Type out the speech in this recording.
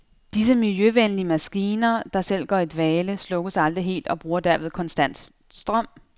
Disse miljøvenlige maskiner, der selv går i dvale, slukkes aldrig helt og bruger derved konstant strøm.